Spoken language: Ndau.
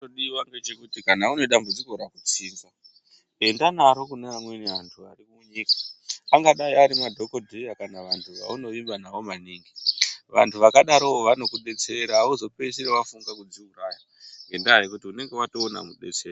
Chinodiwa ngechekuti kana une dambudziko rakutsinza, enda naro kune vamweni vantu vari munyika. Angadai ari madhokoteya kana vantu vaunovimba navo maningi. Vantu vakadarovo vanokudetsera hauzopedzisiri wafunge kudziuraya, ngendaa yekuti unenga watoona mudetseri.